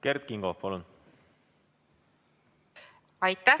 Kert Kingo, palun!